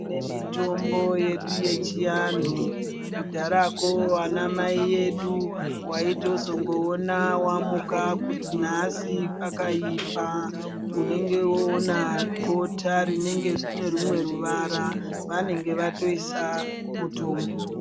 Tine mutombo yedu yechinnhuau kudhaya ko namai edu wayizotoona wamuka kuti nhasi kwakaipa unenge wowona bota rinenge rinerumwe ruvara vanenge vatoisa mutombo.